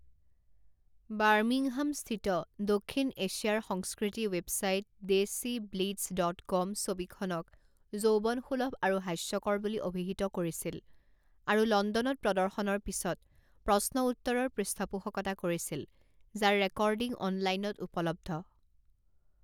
Birmingham স্থিত দক্ষিণ এছিয়াৰ সংস্কৃতি ৱেবছাইট ডেছিব্লিটজ ডট কম ছবিখনক যৌৱনসুলভ আৰু হাস্যকৰ বুলি অভিহিত কৰিছিল আৰু লণ্ডনত প্ৰদৰ্শনৰ পিছত প্ৰশ্ন উত্তৰৰ পৃষ্ঠপোষকতা কৰিছিল যাৰ ৰেকৰ্ডিং অনলাইনত উপলব্ধ।